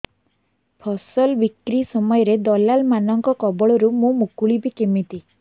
ଫସଲ ବିକ୍ରୀ ସମୟରେ ଦଲାଲ୍ ମାନଙ୍କ କବଳରୁ ମୁଁ ମୁକୁଳିଵି କେମିତି